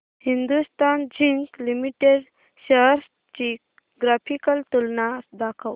Hindustan zinc limited shares ची graphical तुलना दाखव